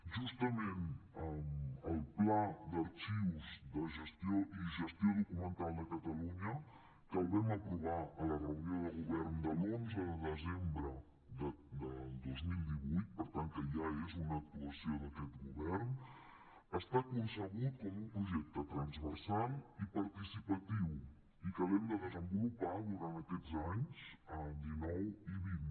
justament el pla d’arxius i gestió documental de catalunya que el vam aprovar a la reunió de govern de l’onze de desembre del dos mil divuit per tant que ja és una actuació d’aquest govern està concebut com un projecte transversal i participatiu i que l’hem de desenvolupar durant aquesta anys dinou i vint